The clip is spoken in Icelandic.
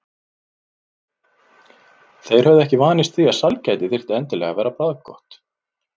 Þeir höfðu ekki vanist því að sælgæti þyrfti endilega að vera bragðgott.